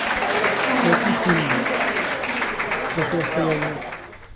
найти фильм противостояние